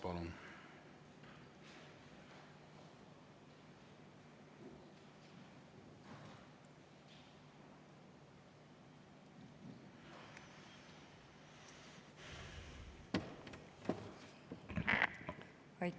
Palun!